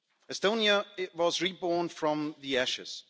Estonia was reborn from the ashes.